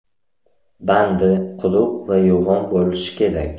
Bandi quruq va yo‘g‘on bo‘lishi kerak.